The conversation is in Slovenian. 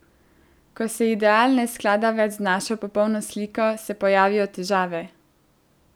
Ko se ideal ne sklada več z našo popolno sliko, se pojavijo težave.